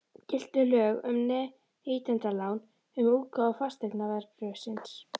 Giltu lög um neytendalán um útgáfu fasteignaveðbréfsins?